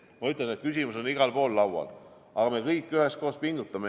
Ma ütlen, et küsimus on igal pool laual, aga me kõik üheskoos pingutame.